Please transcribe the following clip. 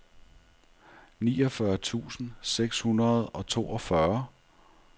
niogfyrre tusind seks hundrede og toogfyrre